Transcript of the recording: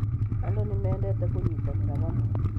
Andũ nĩmendete kũnyitanĩra hamwe